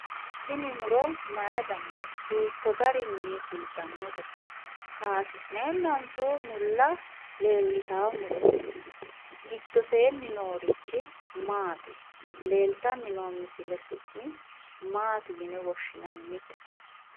Tini muro mayi danite? hiikko garinni fultanote? kaysi'neenanso mulla leelitawo murooti? giddoseeni noorichi maati ?leelittani noo muro su'mase maati yine woshshinannite?